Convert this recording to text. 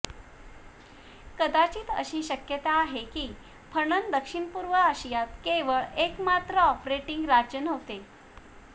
कदाचित अशी शक्यता आहे की फणन दक्षिणपूर्व आशियात केवळ एकमात्र ऑपरेटिंग राज्य नव्हते